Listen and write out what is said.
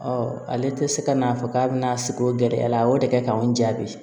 ale tɛ se ka n'a fɔ k'a bɛna sigi o gɛlɛya la a y'o de kɛ k'an jaabi